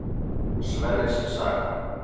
Sverris saga.